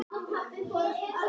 FYRRUM ÁTTI ÉG FALLEG GULL